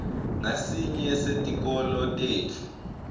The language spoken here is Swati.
ngasinye setikolo tetfu